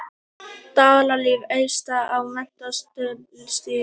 Dalalíf efst á metsölulistann